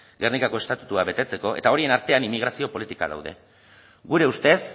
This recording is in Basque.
gernikako estatutua betetzeko eta horien artean inmigrazio politikak daude gure ustez